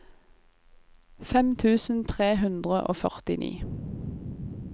fem tusen tre hundre og førtini